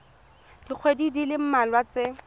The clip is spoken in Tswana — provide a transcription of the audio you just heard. dikgweding di le mmalwa tse